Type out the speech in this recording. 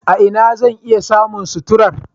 A ina zan iya samun suturar?